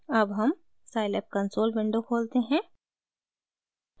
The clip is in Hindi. अब हम scilab कंसोल विंडो खोलते हैं